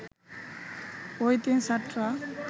ওই তিন ছাত্র